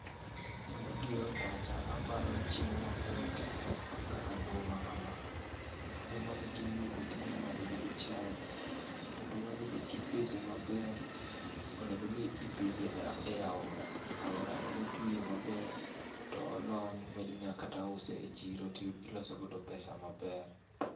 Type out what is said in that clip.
Gima biro e pacha aparo chiemo mamit kaka nduma kama. Ndumani kiyudo to inyalo madhoo chae. To ndumani be kipidhe maber, onego ni ipidhe e aora. Aora ema otwie maber to olony to inyalo kata use e chiro to iloso god pesa maber.